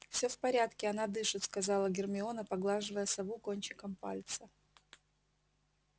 всё в порядке она дышит сказала гермиона поглаживая сову кончиком пальца